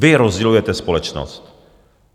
Vy rozdělujete společnost.